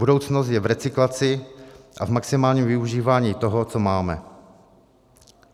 Budoucnost je v recyklaci a v maximálním využívání toho, co máme.